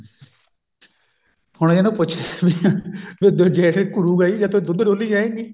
ਹੁਣ ਇਹਨੂੰ ਪੁੱਛੇ ਵੀ ਵੀ ਜੇਠ ਘੂਰੁਗਾ ਹੀ ਜੇ ਤੂੰ ਦੁੱਧ ਡੋਲੀ ਜਾਏਗੀ